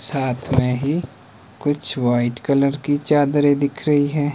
साथ मे ही कुछ वाइट कलर की चादरें दिख रही हैं।